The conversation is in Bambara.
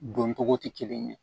Don togo tɛ kelen ye